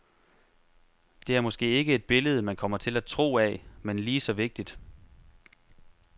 Det er måske ikke et billede, man kommer til at tro af, men lige så vigtigt.